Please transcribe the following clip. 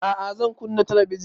A'a zan kunna talabijin